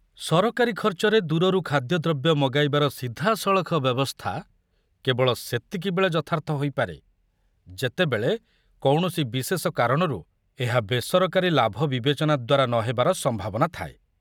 ସରକାରୀ ଖର୍ଚ୍ଚରେ ଦୂରରୁ ଖାଦ୍ୟଦ୍ରବ୍ୟ ମଗାଇବାର ସିଧାସଳଖ ବ୍ୟବସ୍ଥା କେବଳ ସେତିକିବେଳେ ଯଥାର୍ଥ ହୋଇପାରେ ଯେତେବେଳେ କୌଣସି ବିଶେଷ କାରଣରୁ ଏହା ବେସରକାରୀ ଲାଭ ବିବେଚନା ଦ୍ୱାରା ନ ହେବାର ସମ୍ଭାବନା ଥାଏ।